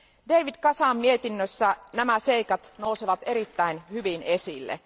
David Casan mietinnössä nämä seikat nousevat erittäin hyvin esille.